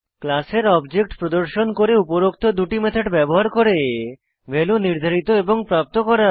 ক্লাসের অবজেক্ট প্রদর্শন করে উপরোক্ত দুটি মেথড ব্যবহার করে ভ্যালুস নির্ধারিত এবং প্রাপ্ত করা